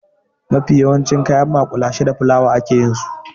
Mafi yawancin kayan maƙulashe da fulawa a ke yin su.